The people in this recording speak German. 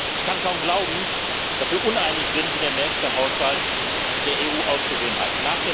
Ich kann kaum glauben, dass wir uneinig sind, wie der nächste Haushalt der EU auszusehen hat.